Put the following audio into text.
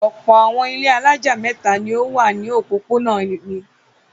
Ọ̀pọ̀ àwọn ilé alájà mẹ́ta ni ó wà ní òpópónà mi.